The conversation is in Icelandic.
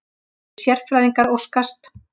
Reyndir sérfræðingar óskast